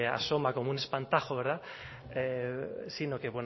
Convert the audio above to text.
asoma como un espantajo sino que